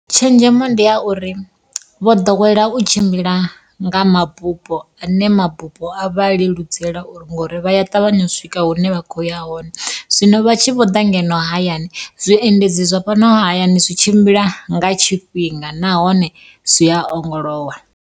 Tshenzhemo ndi ya uri, vho ḓowela u tshimbila nga mabupo ane mabupo a vha leludzela uri ngori vha ya ṱavhanya u swika hune vha khoya hone zwino vha tshi vho ḓa ngeno hayani zwiendedzi zwa fhano hayani zwi tshimbila nga tshifhinga nahone zwi a ongolowa.